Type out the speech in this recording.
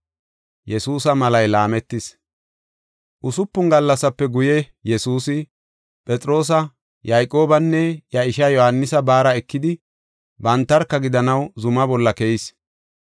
Usupun gallasape guye Yesuusi, Phexroosa, Yayqoobanne iya ishaa Yohaanisa baara ekidi bantarka gidanaw zuma bolla keyis.